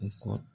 U ko